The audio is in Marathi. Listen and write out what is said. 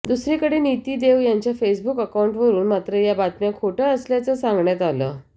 दुसरीकडे नीती देव यांच्या फेसबुक अकाउंटवरून मात्र या बातम्या खोट्या असल्याचं सांगण्यात आलं